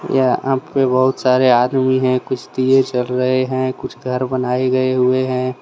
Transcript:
यहां पर बहुत सारे आदमी है। कुछ दिए जल रहे है। कुछ घर बनाए गए हुवे हैं।